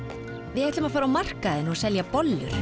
við ætlum að fara á markaðinn og selja bollur